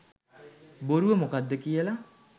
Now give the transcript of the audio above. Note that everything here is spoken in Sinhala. බොරුව මොකද්ද කියල.